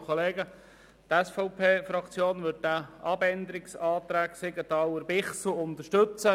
Die SVP-Fraktion wird diesen Abänderungsantrag Siegenthaler/Bichsel mehrheitlich unterstützen.